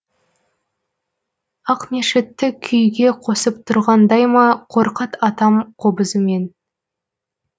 ақмешітті күйге қосып тұрғандайма қорқыт атам қобызымен